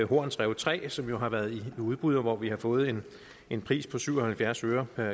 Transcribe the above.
horns rev tre som jo har været i udbud og hvor vi har fået en en pris på syv og halvfjerds øre per